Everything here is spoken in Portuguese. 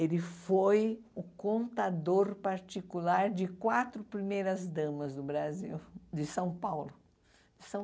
Ele foi o contador particular de quatro primeiras damas do Brasil, de São Paulo. São